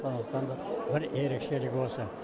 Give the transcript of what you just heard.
сондықтан да бір ерекшелігі осы